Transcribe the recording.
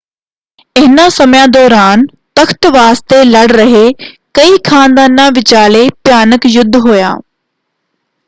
ਇਹਨਾਂ ਸਮਿਆਂ ਦੌਰਾਨ ਤਖ਼ਤ ਵਾਸਤੇ ਲੜ ਰਹੇ ਕਈ ਖ਼ਾਨਦਾਨਾਂ ਵਿਚਾਲੇ ਭਿਆਨਕ ਯੁੱਧ ਹੋਇਆ।